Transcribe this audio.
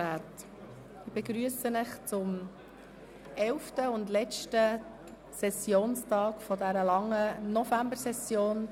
Ich begrüsse Sie zum elften und letzten Sessionstag dieser langen Novembersession.